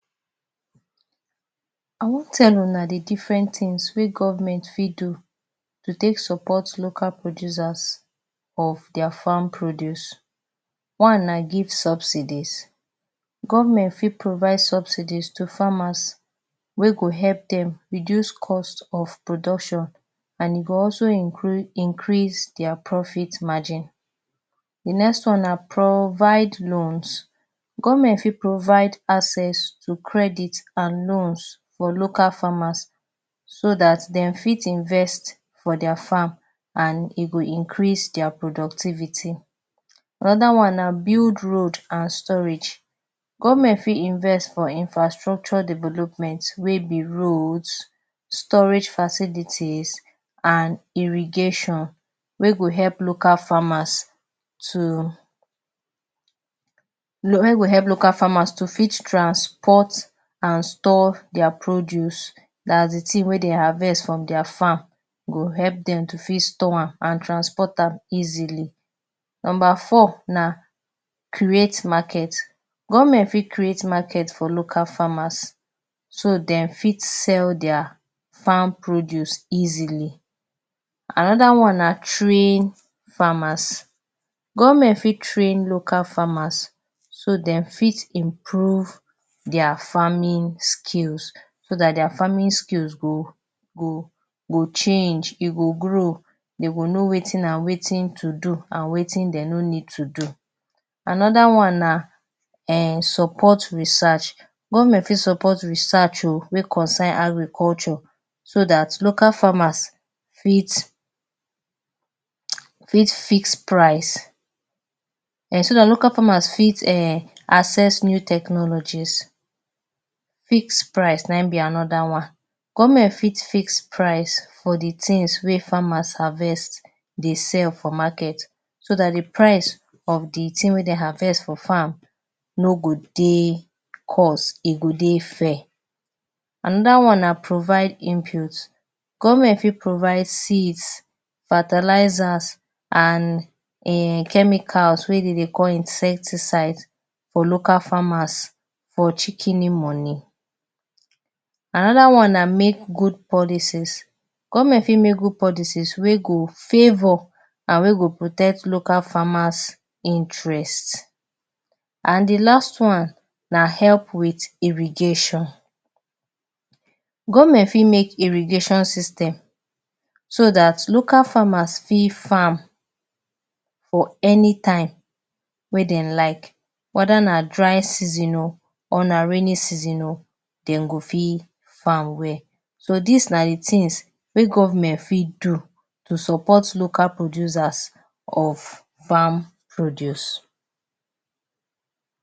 I wan tell una di diffren tins wey govment fit do to take support local producers of dia farm produce, one na give subsidies. Govment fit provide subsidies to farmers wey go help dem reduce cost of production and e go also increase dia profit margin. Di next one na provide loans: govment fit provide access to credit and loans for local farmers so dat dem fit invest for dia farms and e go increase dia productivity. Anoda one na build road and storage: govment fit invest in infrastructure development wey be roads, storage facilities, and irrigation wey go help local farmers to fit transport and store dia produce, dats di tin wen dey harvest from dia farms go help dem to fit store am and transport am easily. Number four na create marker. Govment fit create market for local farmers so dem fit sell dia farm produce easily. Anoda one na train farmers. Govment fit train local farmers so dem fit improve dia farming skills so dat dia farming skills go go change, you go grow you go know wetin and wetin to do and wetin dem no need to do. Anoda one na support research. Govment fit support research o wey concern agriculture so dat local farmers fit fix price, em, so dat local farmers fit access new technologies. Fix price na im be anoda one. Govment fit fix price for di tins wey farmers harvest dey sell for market so dat di price of di wey dem harvest for farm no go dey cost, e go dey fair. Anoda one na provide inputs. Govment fit provide seeds, fertilisers, and chemicals wey dem dey call insecticides for local farmers for shikeni money. Anoda one na make good policies. Govment fit make make good policies wey go favor and wey go protect local farmers interest. And di last one na help wit irrigation. Govment fit make irrigation system so dat local farmers fit farm for anytime wey dem like weda na dry season o or na raining season o dem go fit farm well. So dis na di tins wey govment fit do to support local producers of farm produce.